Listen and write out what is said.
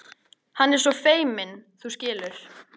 Hann er svo feiminn, þú skilur.